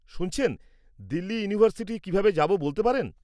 শুনছেন, দিল্লী ইউনিভার্সিটি কীভাবে যাব বলতে পারেন?